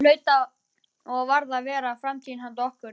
Það hlaut og varð að vera framtíð handa okkur.